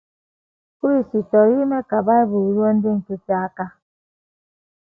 Chris chọrọ ime ka Bible ruo ndị nkịtị aka.